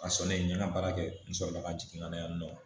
A sɔrɔ ne ye n ka baara kɛ n sɔrɔ la ka jigin ka na yan nɔ